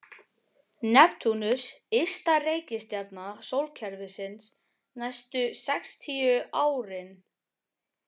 Neptúnus ysta reikistjarna sólkerfisins næstu sextíu árin.